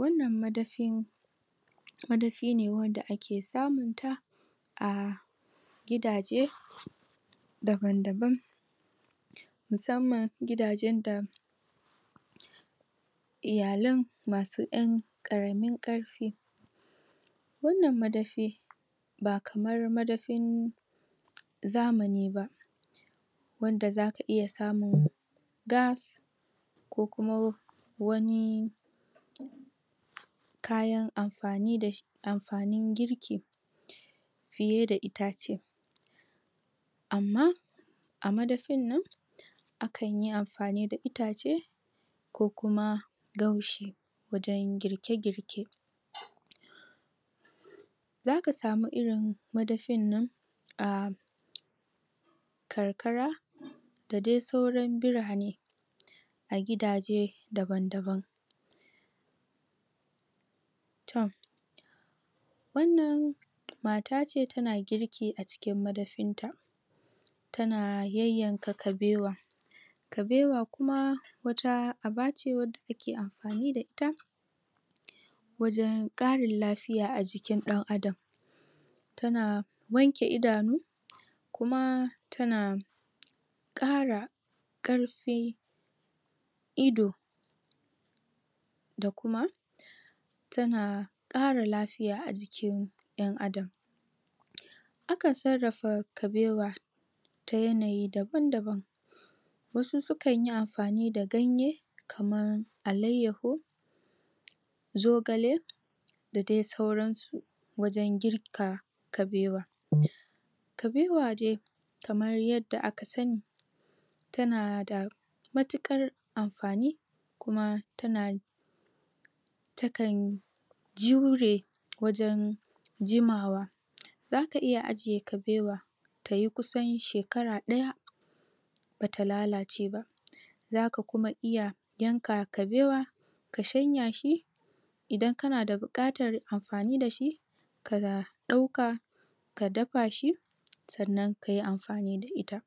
wannan madafin madafi ne wanda ake samun ta a gidaje daban daban musamman gidaje da iyalen ma su yan karamin karfi wannan madafi ba kamar madafin zamani ba wanda za ka iya samun gas ko kuma wani kayan amfanin girki fiye da itace amma a madafi nan akan yi amfani da itace ko kuma gaushi wajen girke girke zaka samu irin madafin nan a karkara da dai sauran birane a gidaje daban daban toh wannan mata ce ta na girki a cikin madafin ta ta na yayanka kabewa kabewa kuma wata aba ce wanda ake amfani da ita wajen karin lafiya a jikin dan adam ta na wanke idanu kuma tana kara karfi ido da kuma ta na kara lafiya a jikin dan adam akan sarrafa kabewa ta yanayi daban daban wasu sukan yi amfani da ganye kaman alaiyahu zogale da dai sauran su wajen girka kabewa kabewa dai kamar yadda aka sani ta na da matukar amfani kuma ta na ta kan jure wajan jimawa zaka iya ajiye kabewa ta yi kusan shekara daya ba ta lalace ba za ka kuma iya yanka kabewa ka shanya shi idan ka na bukatar amfani da shi ka na dauka ka dafa shi sannan ka yiamfani da ita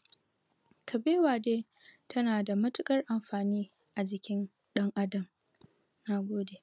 kabewa dai ta na da matukar amfani a jikin dan adam nagode